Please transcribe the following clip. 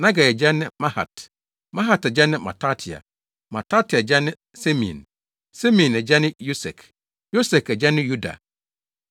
Nagai agya ne Mahat; Mahat agya ne Matatia; Matatia agya ne Semein; Semein agya ne Yosek; Yosek agya ne Yoda;